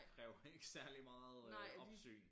Kræver ikke særlig meget øh opsyn